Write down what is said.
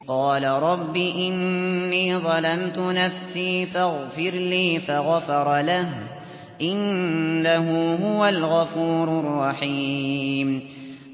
قَالَ رَبِّ إِنِّي ظَلَمْتُ نَفْسِي فَاغْفِرْ لِي فَغَفَرَ لَهُ ۚ إِنَّهُ هُوَ الْغَفُورُ الرَّحِيمُ